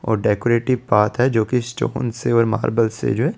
और decorative path है जो की से और मार्बल से जो है।